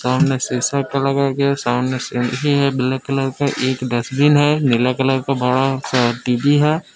सामने शीशा का लगाया गया सामने सीढ़ी है ब्लैक कलर का एक डस्टबिन है नीला कलर का बड़ा सा टी_वी है।